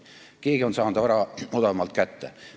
Keegi on saanud vara odavamalt kätte.